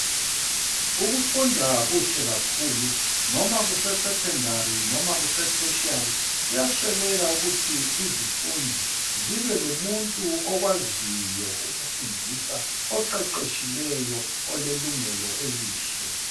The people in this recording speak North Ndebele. Ukufunda kuhle kakhulu noma kuse secondary noma kuse tertiary kuyasweleka ukuthi izifundi zibe lomuntu okwaziyo ukufundisa oqeqetshileyo olelungelo elihle.